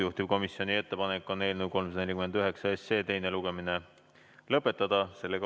Juhtivkomisjoni ettepanek on eelnõu 349 teine lugemine lõpetada.